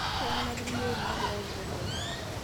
kang'ae naliki iyioook naagira aandelea